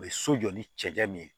U bɛ so jɔ ni cɛncɛn min ye